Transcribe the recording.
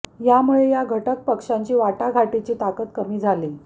यामुळे या घटक पक्षांची वाटाघाटीची ताकद कमी झाली